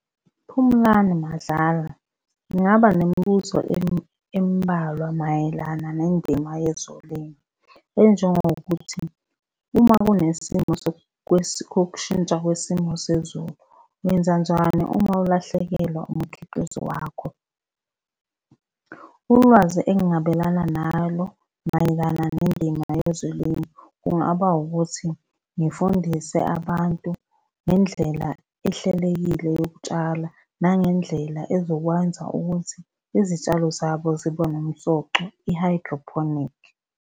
UPhumlani Madlala, ngingaba nemibuzo embalwa mayelana nendima yezolimo, enjengokuthi, uma kunesimo kokushintsha kwesimo sezulu, wenzanjani uma ulahlekelwa umkhiqizo wakho? Ulwazi engingabelana nalo mayelana nendima yezolimo, kungaba ukuthi ngifundise abantu ngendlela ehlelekile yokutshala, nangendlela ezokwenza ukuthi izitshalo zabo zibe nomsoco, i-hydroponic.